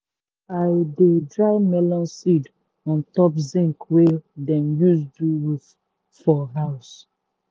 i dey dry melon seed on top hot zinc wey dem use do roof for house.